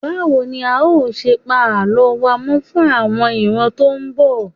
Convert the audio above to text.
Báwo ni a ó ṣe pa Àlọ́ wa mọ́ fún àwọn ìran tó ń bọ̀?